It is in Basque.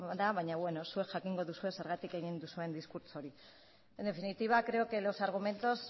da baina beno zuek jakingo duzuen zergatik egin duzuen diskurtso hori en definitiva creo que los argumentos